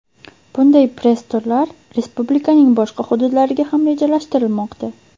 Bunday press-turlar respublikaning boshqa hududlariga ham rejalashtirilmoqda.